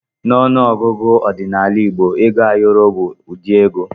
N'ọnụ ọgụgụ ọdịnala igbo ego ayọrọ bụ ụdị ego.